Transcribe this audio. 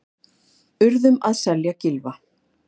Urðum að selja Gylfa